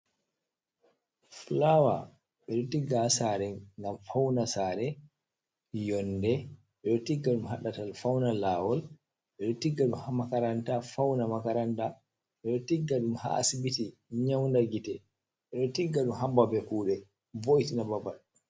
Fulawa: Ɓeɗo tigga ha sare ngam fauna sare, yonde, ɓeɗo tigga ɗum ha ɗatal fauna lawol, ɓeɗo tigga ɗum makaranta fauna makaranta, ɓeɗo tigga ɗum ha asibiti nyaunda gite, ɓeɗo tigga ɗum ha babe kuɗe vo'itina babal.